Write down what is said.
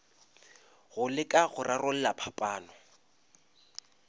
go leka go rarolla phapano